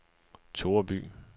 Toreby